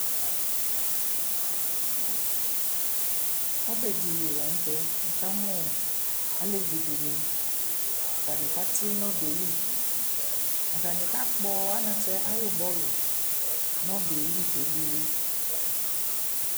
Ɔbɛdɩ li la n'tɛ, wʋ ka mʋ alevidɩnɩ stanɩ kati n'ɔbɛ yɛ li, Stanɩ kakpɔ anatsɛ ayʋ bɔlʋ n'ɔbɛli kebuele